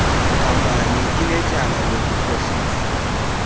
nkampani inetyala lokukhohlisa